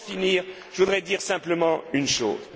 la table. Pour en finir, je voudrais dire simplement